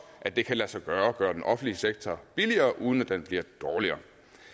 at det kan lade sig gøre at gøre den offentlige sektor billigere uden at den bliver dårligere